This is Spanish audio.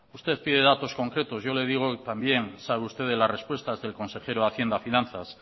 usted quiere datos concretos y yo le digo también sabe usted de las respuestas del consejero de hacienda y finanzas